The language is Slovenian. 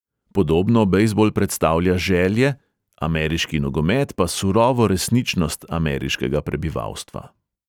Podobno bejzbol predstavlja želje, ameriški nogomet pa surovo resničnost ameriškega prebivalstva.